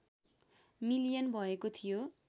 million भएको थियो